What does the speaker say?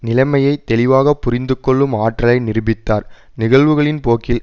நிலைமையை தெளிவாக புரிந்துகொள்ளும் ஆற்றலை நிரூபித்தார் நிகழ்வுகளின் போக்கில்